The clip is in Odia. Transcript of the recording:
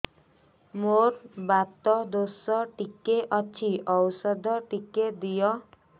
ମୋର୍ ବାତ ଦୋଷ ଟିକେ ଅଛି ଔଷଧ ଟିକେ ଦିଅ